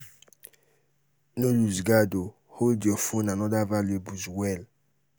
no loose guard hold your phone and oda valuables well